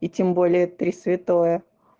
и тем более три святое